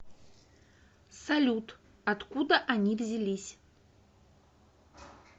салют откуда они взялись